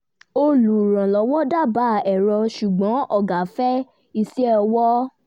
olùrànlọ́wọ́ dábàá ẹ̀rọ ṣùgbọ́n ọ̀gá fẹ́ iṣẹ́ ọwọ́